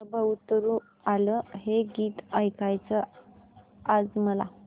नभं उतरू आलं हे गीत ऐकायचंय आज मला